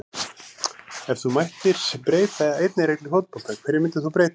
Ef þú mættir breyta einni reglu í fótbolta, hverju myndir þú breyta??